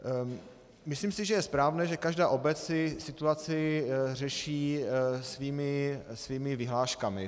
Myslím si, že je správné, že každá obec si situaci řeší svými vyhláškami.